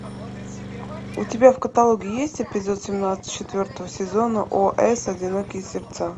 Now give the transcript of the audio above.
у тебя в каталоге есть эпизод семнадцать четвертого сезона ос одинокие сердца